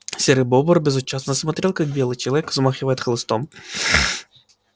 серый бобр безучастно смотрел как белый человек взмахиваем хлыстом